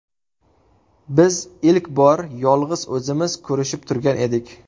Biz ilk bor yolg‘iz o‘zimiz ko‘rishib turgan edik.